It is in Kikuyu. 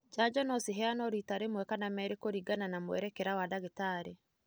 Janjo nociheanũo rita rĩmwe kana merĩ kũringana na mwerekera wa ndagĩtarĩ.